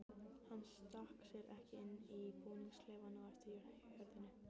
Hann stakk sér ekki inn í búningsklefann á eftir hjörðinni.